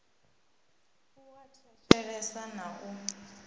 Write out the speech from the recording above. a u thetshelesa na u